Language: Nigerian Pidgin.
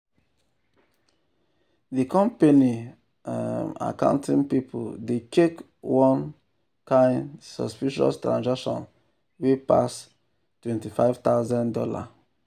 the company um accounting people dey check one um kind um suspicious transaction wey pass two hundred and fifty thousand dollars